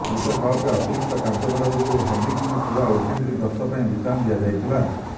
ବିଶ୍ୱକପରେ ଅତିରିକ୍ତ କାର୍ଯ୍ୟଭାର ଯୋଗୁ ହାର୍ଦ୍ଦିକଙ୍କୁ ପୂରା ୱେଷ୍ଟଇଣ୍ଡିଜ୍ ଗସ୍ତ ପାଇଁ ବିଶ୍ରାମ ଦିଆଯାଇଥିଲା